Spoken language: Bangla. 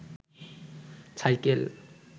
সাইকেল